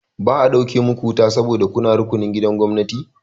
Ba a ɗauke muku wuta ba sabo da kuna rukunin gidajen gwamnati.